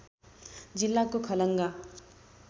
जिल्लाको खलङ्गा